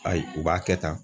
Ayi u b'a kɛ tan